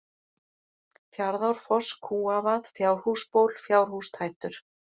Fjaðrárfoss, Kúavað, Fjárhúsból, Fjárhústættur